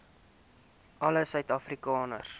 alle suid afrikaners